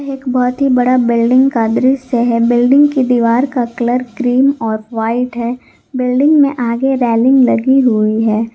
एक बहोत ही बड़ा बिल्डिंग का दृश्य है बिल्डिंग की दीवार का कलर क्रीम और वाइट है बिल्डिंग में आगे रेलिंग लगी हुई है।